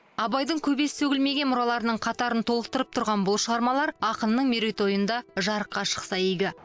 абайдың көбесі сөгілмеген мұраларының қатарын толықтырып тұрған бұл шығармалар ақынның мерейтойында жарыққа шықса игі